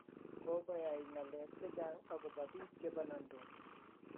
kokoyai ngalek che chang akobo biik che banandos